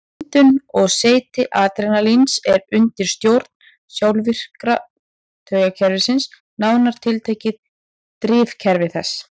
Myndun og seyti adrenalíns er undir stjórn sjálfvirka taugakerfisins, nánar tiltekið drifkerfi þess.